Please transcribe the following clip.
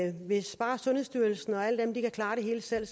sundhedsstyrelsen og alle dem kan klare det hele selv